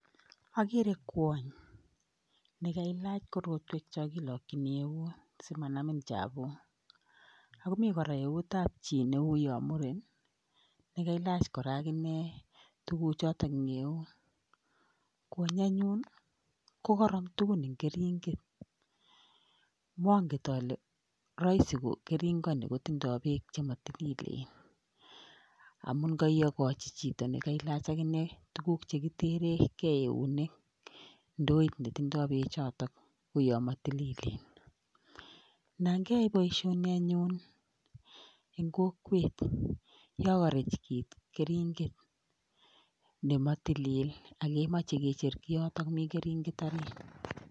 Agere kwony nekailach korotwek chokilikchini keunek simanamin chapuk, akomii koraa eut ab chi neuyo muren nekailach koraa akine tukuchotok eng' eut kwonyi anyun ko karam tugun eng' keringet manget ale, raisi ko keringoni kotindoy tuguk chematililen amun kaiyogochi chichekailach akine tuguk chekitere kei keunek ndoit netindoy peekchotok uyo matililen, nan keyae boisioni anyun eng' kokwet yo karech kito keringet nematililen akemache kecher kiyotok mi keringet arit.